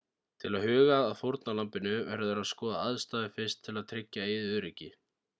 til að huga að fórnarlambinu verður að skoða aðstæður fyrst til að tryggja eigið öryggi